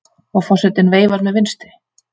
Og forsetinn veifar með vinstri.